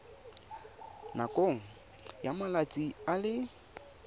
nakong ya malatsi a le